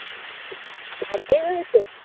അടി ഒക്കെ കിട്ടും.